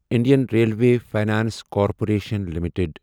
Indian railway finance corporation limited